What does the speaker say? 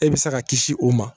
E bɛ se ka kisi o ma